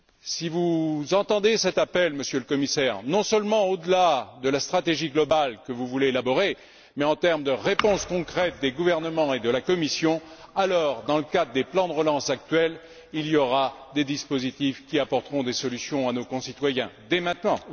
Si vous entendez cet appel, Monsieur le Commissaire, non seulement au delà de la stratégie globale que vous voulez élaborer, mais en termes de réponse concrète des gouvernements et de la Commission, alors, dans le cadre des plans de relance actuels, il y aura des dispositifs qui apporteront des solutions à nos concitoyens, dès maintenant.